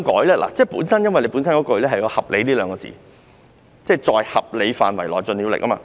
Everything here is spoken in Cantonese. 原文有"合理"一詞，即"在合理範圍內盡了力"。